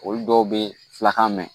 Olu dɔw bɛ fula ka mɛn